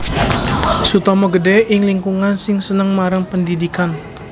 Sutomo gedhé ing lingkungan sing seneng marang pendhidhikan